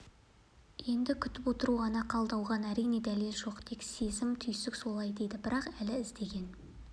енді күтіп отыру ғана қалды оған әрине дәлелі жоқ тек сезім-түйсік солай дейді бірақ әлгі іздеген